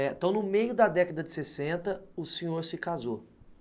Então, no meio da década de sessenta, o senhor se casou.